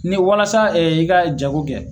Ni walasa i ka jago kɛ